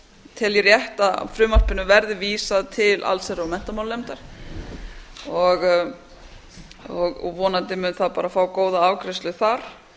tel ég rétt að frumvarpinu verði vísað til allsherjar og menntamálanefndar vonandi mun það fá góða afgreiðslu þar